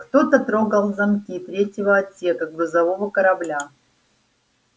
кто-то трогал замки третьего отсека грузового корабля